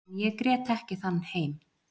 En ég grét ekki þann heim.